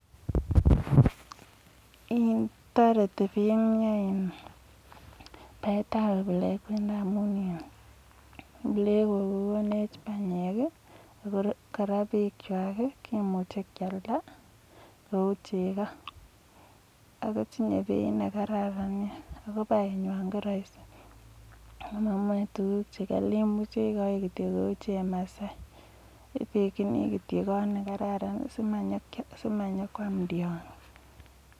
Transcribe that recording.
toreti baek ab plengwet amu plengok ko konech panyek ako kora bek kwok ke muchi kealda akotinye penda nekararan nea ako penywa ko makali ako machache tuguk chekali ak bek si manyikwam tiondo